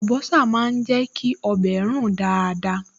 Àlùbọ́sà máa ń jẹ́ kí ọbẹ̀ rùn dáadáa